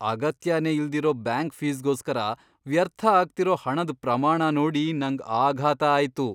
ಅಗತ್ಯನೇ ಇಲ್ದಿರೋ ಬ್ಯಾಂಕ್ ಫೀಸ್ಗೋಸ್ಕರ ವ್ಯರ್ಥ ಆಗ್ತಿರೋ ಹಣದ್ ಪ್ರಮಾಣ ನೋಡಿ ನಂಗ್ ಆಘಾತ ಆಯ್ತು.